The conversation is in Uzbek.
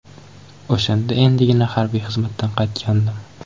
O‘shanda endigina harbiy xizmatdan qaytgandim.